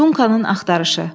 Dunkanın axtarışı.